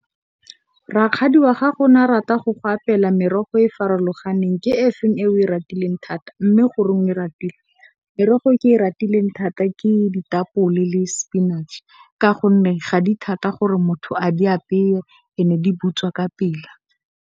Rakgadi wa gago na rata go go apela merogo e e farologaneng ke efeng e o e ratileng thata mme, goreng o e ratile? Merogo e ke e ratileng thata ke ditapole le sepinatšhe ka gonne, ga di thata gore motho a di apeye and di butswa ka pele.